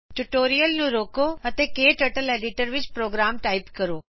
tutorial ਨੂੰ ਰੋਕੋ ਅਤੇ ਆਪਣੇ ਕਟਰਟਲ ਐਡੀਟਰ ਵਿੱਚ ਪ੍ਰੋਗਰਾਮ ਟਾਈਪ ਕਰੋ